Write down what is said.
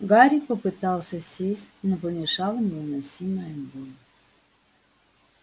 гарри попытался сесть но помешала невыносимая боль